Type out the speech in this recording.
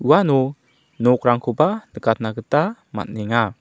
uano nokrangkoba nikatna gita man·enga.